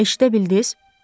Eşidə bildiz?